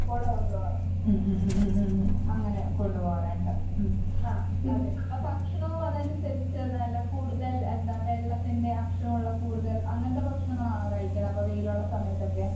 ഉം ഉം ഉം ഉം ഉം ഉം. അങ്ങനെ കൊണ്ട് പോകാറിണ്ട്. ഉം പിന്നെ ഭക്ഷണവും അതനുസരിച്ച് നല്ല കൂടുതൽ എന്താ വെള്ളത്തിന്റെ അംശമുള്ള കൂടുതൽ അങ്ങനത്തെ ഭക്ഷണങ്ങളാണോ കഴിക്കുന്നേ അപ്പ വെയിലുള്ള സമയത്തൊക്കെ?